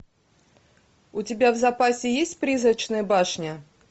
у тебя в запасе есть призрачная башня